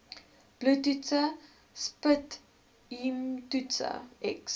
bloedtoetse sputumtoetse x